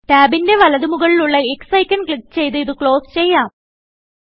ടാബിന്റെ വലത്ത്മുകളിലുള്ള X icon click ചെയ്ത് ഇത് ക്ലോസ് ചെയ്യാം